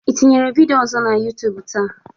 Ị tinyete vidịo ọzọ na YuTub taa?